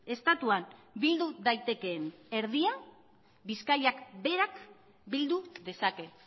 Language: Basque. estatuan bildu daitekeen erdia bizkaiak berak bildu dezake